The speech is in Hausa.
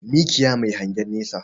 Mikiya Mai hangen nesa